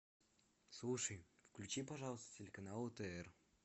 слушай включи пожалуйста телеканал отр